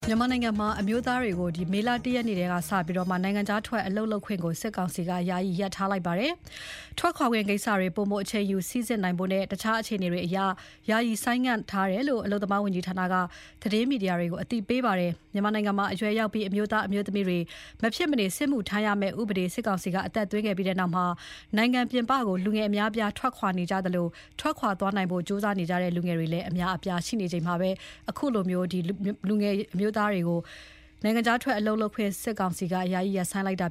မြန်မာနိုင်ငံမှာ အမျိုးသားတွေကို မေလ ၁ ရက်နေ့က စပြီး နိုင်ငံခြားထွက် အလုပ်လုပ်ခွင့်ကို စစ်ကောင်စီက ယာယီရပ်ထားလိုက်ပါတယ်။ ထွက်ခွာခွင့် ကိစ္စတွေ ပိုမိုအချိန်ယူ စိစစ်နိုင်ဖို့နဲ့ တခြားအခြေအနေအရ ယာယီဆိုင်းငံ့ထားတယ်လို့ အလုပ်သမားဝန်ကြီးဌာနက သတင်းမီဒီယာတွေကို ပြောကြားခဲ့ပါတယ်။ မြန်မာနိုင်ငံမှာ အရွယ်ရောက်ပြီး အမျိုးသား အမျိုးသမီးတွေ မဖြစ်မနေ စစ်မှုထမ်းရမယ့်ဥပဒေ စစ်ကောင်စီက အသက်သွင်းခဲ့ပြီးနောက် နိုင်ငံပြင်ပကို လူငယ်အများအပြားထွက်ခွာသွားကြသလို ထွက်ခွာနိုင်ဖို့ ကြိုးစားနေကြတဲ့ လူငယ်တွေလည်း အများကြီးရှိနေပါတယ်။ ဒီလိုအခြေအနေမှာ အမျိုးသားတွေ နိုင်ငံခြားထွက်ခွင့်ကို စစ်ကောင်စီက ယာယီရပ်ဆိုင်းလိုက်တာ